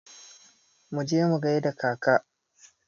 Mu je mu gaida kaka!